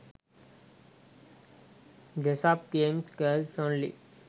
dress up games girls only